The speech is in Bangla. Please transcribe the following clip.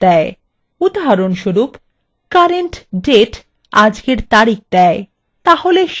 উদাহরণস্বরূপ current _ date আজকের তারিখ দেয়